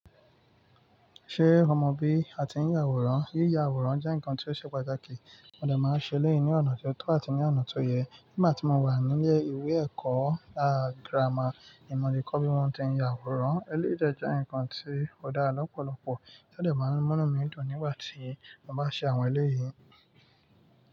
Ṣé o mọ bí a ti ń ya àwòrán? Yíya àwòrán jẹ́ ǹkan tí ó ṣe pàtàkì, wọ́n dà máa ń ṣe lẹ́yìn ní ọ̀nà tó tọ́ àti ní ọ̀nà tó yẹ. Nígbà tí mo wà nílé ìwé ẹ̀kọ́ gírámà, ní mo ti kọ́ bí wọ́n ti ń ya àwòrán. Eléyìí dẹ̀ jẹ́ ǹkan tí ò dára lọ́pọ̀lọpọ̀, ó dẹ̀ máa ń mú mí dùn nígbà tí mo bá ṣe àwọn eléyìí.